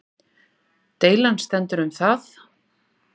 Deilan stendur um það